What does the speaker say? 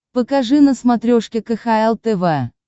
покажи на смотрешке кхл тв